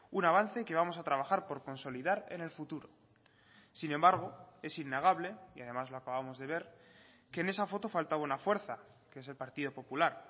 un avance que vamos a trabajar por consolidar en el futuro sin embargo es innegable y además lo acabamos de ver que en esa foto faltaba una fuerza que es el partido popular